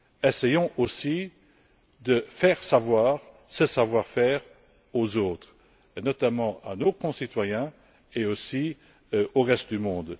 Essayons aussi de faire connaître ce savoir faire aux autres, notamment à nos concitoyens et aussi au reste du monde.